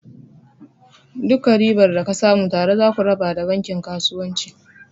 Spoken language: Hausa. Duka ribar da ka samu tare zaku raba da bankin kasuwanci.